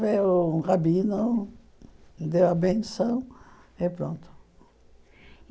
Veio um rabino, deu a benção e pronto.